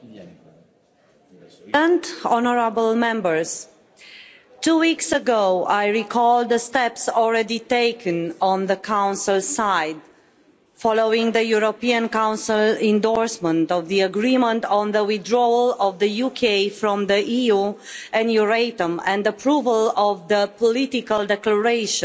Mr President, two weeks ago, I recall the steps already taken on the Council side following the European Council endorsement of the agreement on the withdrawal of the UK from the EU and Euratom and approval of the political declaration